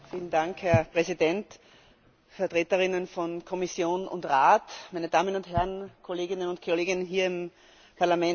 Herr Präsident, Vertreterinnen von Kommission und Rat, meine Damen und Herren Kolleginnen und Kollegen hier im Parlament!